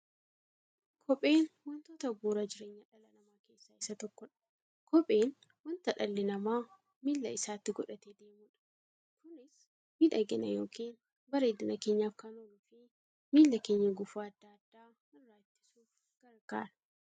Kopheen wantoota bu'uura jireenya dhala namaa keessaa isa tokkodha. Kopheen wanta dhalli namaa miilla isaatti godhatee deemudha. Kunis miidhagani yookiin bareedina keenyaf kan ooluufi miilla keenya gufuu adda addaa irraa ittisuuf gargaara.